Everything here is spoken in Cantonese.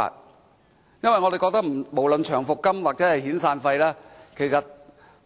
我們認為，長期服務金和遣散費